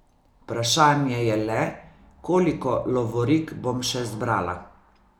Vprašanje je le, koliko lovorik bom še zbrala.